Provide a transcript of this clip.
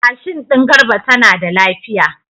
Mashin din Garba tana da lafiya.